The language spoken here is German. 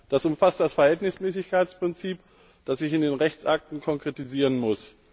Das umfasst das Verhältnismäßigkeitsprinzip, das sich in den Rechtsakten konkretisieren muss.